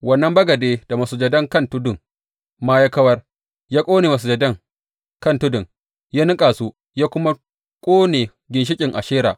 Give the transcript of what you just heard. Wannan bagade da masujadan kan tudun ma ya kawar, ya ƙone masujadan kan tudun, ya niƙa su, ya kuma ƙone ginshiƙin Ashera.